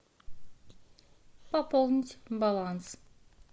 пополнить баланс